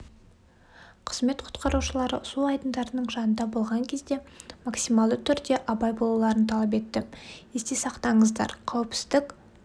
қызмет құтқарушылары су айдындарының жанында болған кезде максималды түрде абай болуларын талап етті есте сақтаңыздар қауіпсіздік